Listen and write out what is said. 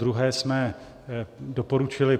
Podruhé jsme doporučili